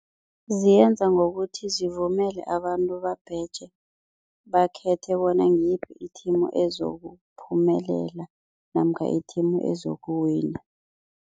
Ziyenza ngokuthi zivumele abantu babheje bakhethe bona ngiyiphi i-team ezokuphumelela namkha i-team ezokuwina.